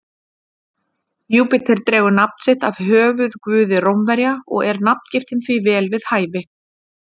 Júpíter dregur nafn sitt af höfuðguði Rómverja og er nafngiftin því vel við hæfi.